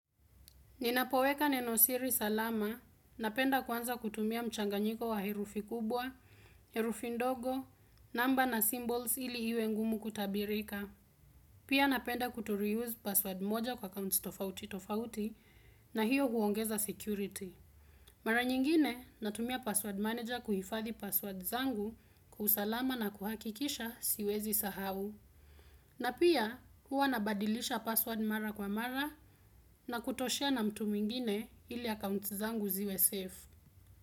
Ninapoweka nenosiri salama, napenda kwanza kutumia mchanganyiko wa herufi kubwa, herufi ndogo, namba na symbols ili hiwe ngumu kutabirika. Pia napenda kuto reuse password moja kwa accounts tofauti tofauti na hiyo huongeza security. Mara nyingine, natumia password manager kuhifadhi password zangu kwa usalama na kuhakikisha siwezi sahau. Na pia huwa nabadilisha password mara kwa mara na kuto share na mtu mwingine ili akaunti zangu ziwe safe.